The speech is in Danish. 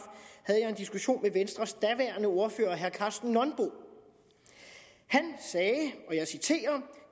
havde jeg en diskussion med venstres daværende ordfører herre karsten nonbo han sagde og jeg citerer